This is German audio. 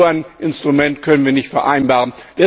So ein Instrument können wir nicht vereinbaren.